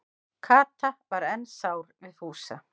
Kata var enn sár við Fúsa.